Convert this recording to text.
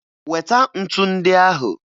Weta ntu ndị ahụ!